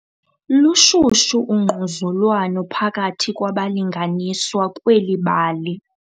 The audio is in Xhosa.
Lushushu ungquzulwano phakathi kwabalinganiswa kweli bali.